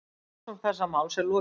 Rannsókn þessa máls er lokið.